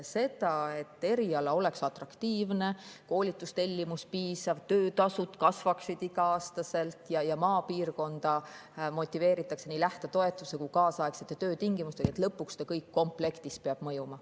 Kui eriala on atraktiivne, koolitustellimus piisav, töötasud kasvavad iga aasta ja maapiirkonda motiveeritakse nii lähtetoetuse kui ka kaasaegsete töötingimustega – lõpuks see kõik komplektis peab mõjuma.